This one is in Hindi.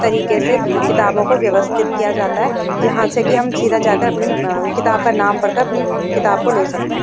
तरीके से किताबों को व्यवस्थित किया जाता है जहाँ से कि हम सीधा जाकर अपनी किताब का नाम पढ़कर अपनी किताब को ले सकते हैं।